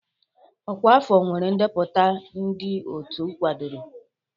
Ọkwa afọ nwere ndepụta ndị otu akwadoro